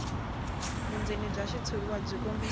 vundzeni bya xitshuriwa byi kombisa